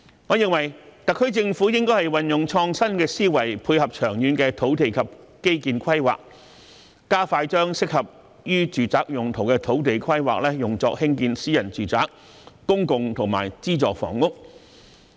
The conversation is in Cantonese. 我認為，特區政府應該運用創新思維，配合長遠的土地及基建規劃，加快把適合用於住宅用途的土地規劃作興建私人住宅、公共及資助房屋。